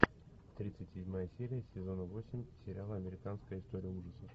тридцать седьмая серия сезона восемь сериала американская история ужасов